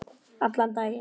Allan daginn.